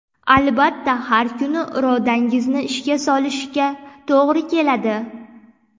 Albatta, har kuni irodangizni ishga solishga to‘g‘ri keladi.